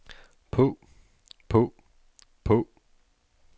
på på på